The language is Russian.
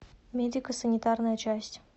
медико санитарная часть